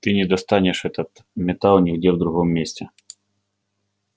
ты не достанешь этот металл нигде в другом месте